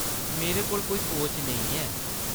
मेरे कोल कोई कोच नेईं ऐ।